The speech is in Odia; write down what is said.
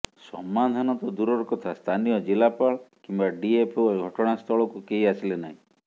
ସମାଧାନ ତ ଦୂରର କଥା ସ୍ଥାନୀୟ ଜିଲ୍ଲାପାଳ କିମ୍ବା ଡିଏଫଓ ଘଟଣାସ୍ଥଳକୁ କେହି ଆସିଲେ ନାହିଁ